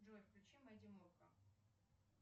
джой включи мэдди мурка